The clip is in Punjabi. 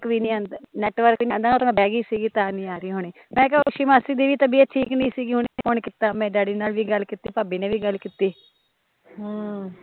ਨੈੱਟਵਰਕ ਨੀ ਆਉਂਦਾ ਓਹ ਮੈਂ ਬਹਿਗੀ ਸੀਗੀ ਤਾਂ ਨੀ ਆ ਰਹੀ ਹੋਣੀ, ਮੈਂ ਕਿਹਾ ਹੋਸ਼ੀ ਮਾਸੀ ਦੀ ਤਬੀਅਤ ਠੀਕ ਨੀ ਸੀਗੀ, ਹੁਣੇ ਫੋਨ ਕੀਤਾ ਮੈਂ, ਡੈਡੀ ਨਾਲ਼ ਵੀ ਗੱਲ ਕੀਤੀ ਭਾਬੀ ਨੇ ਵੀ ਗੱਲ ਕੀਤੀ ਹਮ